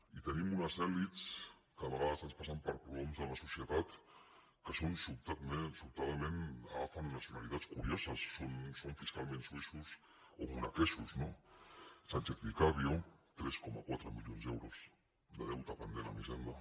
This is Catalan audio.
i tenim unes elits que a vegades es passen per prohoms de la societat que sobtadament agafen nacionalitats curioses són fiscalment suïssos o monegascs no sánchez vicario tres coma quatre milions d’euros de deute pendent amb hisenda